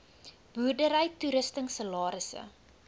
boerdery toerusting salarisse